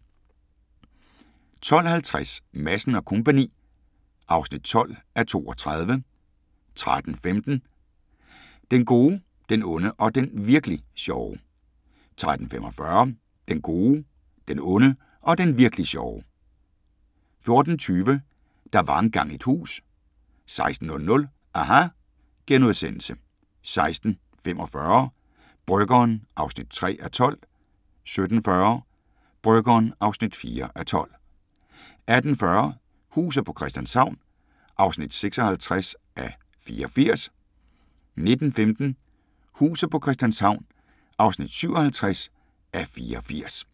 12:50: Madsen & Co. (12:32) 13:15: Den gode, den onde og den virk'li sjove 13:45: Den gode, den onde og den virk'li sjove 14:20: Der var engang et hus 16:00: aHA! * 16:45: Bryggeren (3:12) 17:40: Bryggeren (4:12) 18:40: Huset på Christianshavn (56:84) 19:15: Huset på Christianshavn (57:84)